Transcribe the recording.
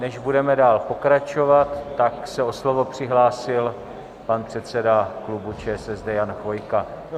Než budeme dál pokračovat, tak se o slovo přihlásil pan předseda klubu ČSSD, Jan Chvojka.